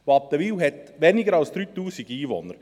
Wattenwil hat weniger als 3000 Einwohner.